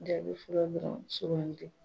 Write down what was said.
Jaabi fɔlɔ dɔrɔn soloamani de